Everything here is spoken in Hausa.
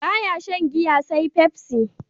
Ba ya shan giya sai pepsi.